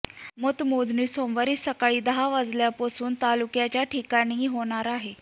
मतमोजणी सोमवारी सकाळी दहा वाजल्यापासून तालुक्याच्या ठिकाणी होणार आहे